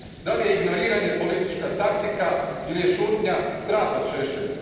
Da li je ignoriranje politička taktika ili je šutnja strah od Šešelja?